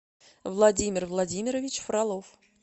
владимир владимирович фролов